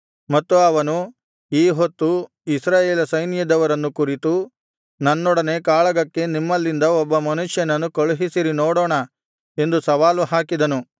ಮತ್ತು ಅವನು ಈಹೊತ್ತು ಇಸ್ರಾಯೇಲ ಸೈನ್ಯದವರನ್ನು ಕುರಿತು ನನ್ನೊಡನೆ ಕಾಳಗಕ್ಕೆ ನಿಮ್ಮಲ್ಲಿಂದ ಒಬ್ಬ ಮನುಷ್ಯನನ್ನು ಕಳುಹಿಸಿರಿ ನೋಡೋಣ ಎಂದು ಸವಾಲು ಹಾಕಿದನು